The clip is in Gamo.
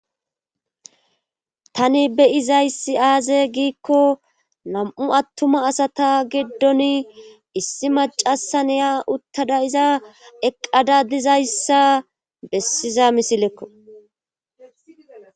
tani be'izayssi aaze giikko nam'u attuma asata giddoni issi macasa neya uttada iza eqqada dizayssa bessiza misilekko